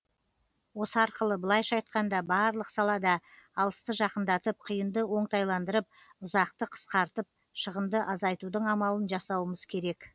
осы арқылы былайша айтқанда барлық салада алысты жақындатып қиынды оңтайландырып ұзақты қысқартып шығынды азайтудың амалын жасауымыз керек